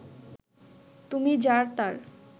তুমি যার তার